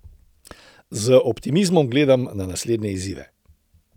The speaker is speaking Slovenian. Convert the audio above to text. Z optimizmom gledam na naslednje izzive.